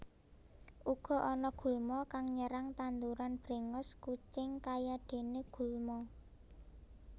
Uga ana gulma kang nyerang tanduran brèngos kucing kayadené gulma